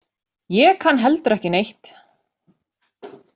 Ég kann heldur ekki neitt.